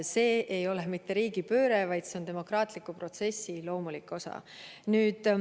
See ei ole mitte riigipööre, vaid see on demokraatliku protsessi loomulik osa.